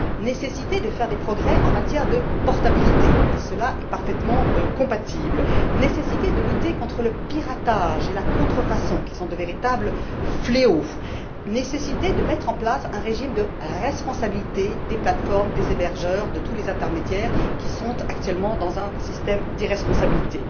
nécessité de progresser en matière de portabilité cela est parfaitement compatible, nécessité de lutter contre le piratage et la contrefaçon, qui sont de véritables fléaux, nécessité de mettre en place un régime de responsabilité des plates formes, des hébergeurs, de tous les intermédiaires qui se trouvent actuellement dans un système d'irresponsabilité,